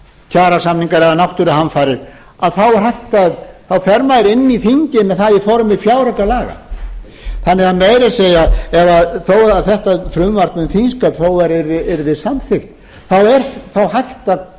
kjarasamningar eða náttúruhamfarir að þá fer maður inn í þingið með það í formi fjáraukalaga þannig að meira að segja þó að þetta frumvarp um þingsköp þó að það yrði samþykkt þá